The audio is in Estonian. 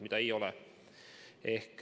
Aga seda ei ole.